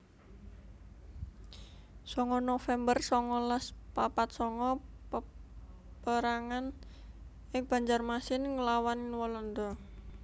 songo november songolas papat sanga Peperangan ing Banjarmasin nglawan Walanda